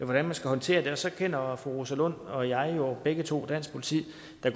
hvordan man skal håndtere det og så kender fru rosa lund og jeg jo begge to dansk politi